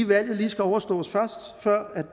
valget lige skal overstås først før